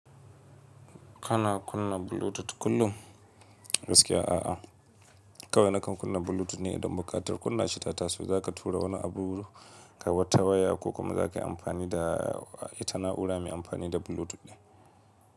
Kana kunna Bluetooth kullum? Gaskiya a'a. Kawai na kan kunna Bluetooth ne idan buƙatar kunna shi ta taso, zaka tura wani abubuwa ta waya ko kuma zakayi amfani da ita na'ura mai amfani da Bluetooth ɗin.